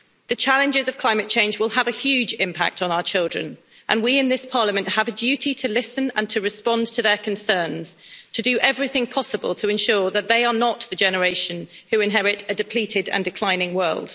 The challenges of climate change will have a huge impact on our children, and we in this Parliament have a duty to listen and to respond to their concerns, to do everything possible to ensure that they are not the generation who inherit a depleted and declining world.